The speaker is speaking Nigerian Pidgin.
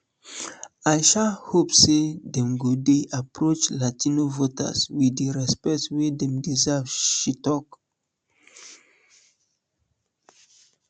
i sha hope say dem go dey approach latino voters wit di respect wey dem deserve she tok